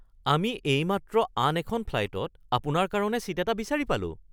আমি এইমাত্ৰ আন এখন ফ্লাইটত আপোনাৰ কাৰণে ছীট এটা বিচাৰি পালোঁ